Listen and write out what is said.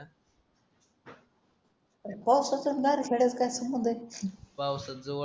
पावसाचा आणि नारखेडच काय संबंध आहे